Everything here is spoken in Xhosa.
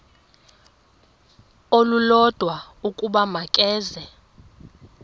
olulodwa ukuba makeze